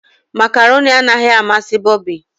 macaroni anaghị amasị bobby.